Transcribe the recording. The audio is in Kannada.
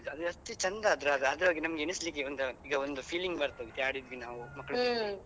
ಅದು ಎಷ್ಟು ಚಂದ ಅದ್ರದ್ದು ಆದ್ರೆ ಹಾಗೆ ನಮ್ಗೆ ಎನಿಸಲಿಕ್ಕೆ ಒಂದು ಈಗ ಈಗ ಒಂದು feeling ಬರ್ತದೆ ಹೀಗೆ ಆಡಿದ್ವಿ ನಾವು ಮಕ್ಳ ಜೊತೆ